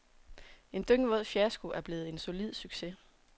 En dyngvåd fiasko er blevet en solid succes.